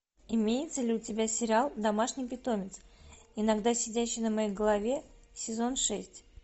имеется ли у тебя сериал домашний питомец иногда сидящий на моей голове сезон шесть